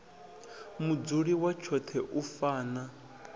mudzuli wa tshoṱhe u fana